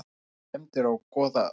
Kanna skemmdir á Goðafossi